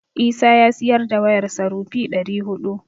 Isa ya siyar da wayarsa rupee ɗari huɗu.